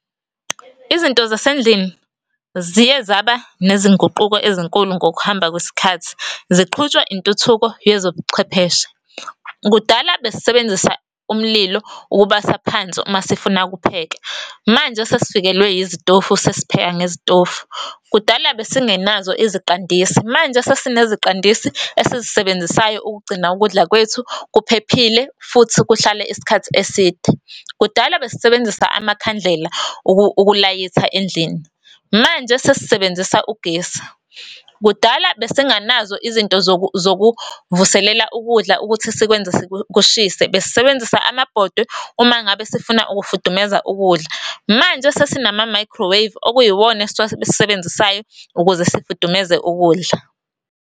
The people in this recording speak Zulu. Izinto zasendlini ziyezaba nezinguquko ezinkulu ngokuhamba kwesikhathi ziqhutshwa intuthuko yezobuchwepheshe. Kudala besisebenzisa umlilo ukubasa phansi uma sifuna ukupheka. Manje sesifikelwe yizitofu, sesipheka ngezitofu. Kudala besingenazo iziqandisi, manje sesineziqandisi esizisebenzisayo ukugcina ukudla kwethu kuphephile futhi kuhlale isikhathi eside. Kudala besisebenzisa amakhandlela ukulayitha endlini, manje sesisebenzisa ugesi. Kudala besinganazo izinto zokuvuselela ukudla ukuthi sikwenze kushise, besisebenzisa amabhodwe uma ngabe sifuna ukufudumeza ukudla, manje sesinama-microwave okuyiwona esiwasebenzisayo ukuze sifudumeze ukudla.